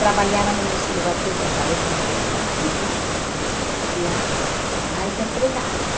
trabalhavam em nesse lugar que eu te falei que era grande, onde existiam mais empregados.